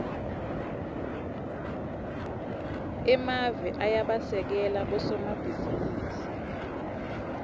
emave ayabasekela bosomabhizinisi